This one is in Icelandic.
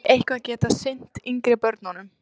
Hafið þið eitthvað getað sinnt yngri börnunum?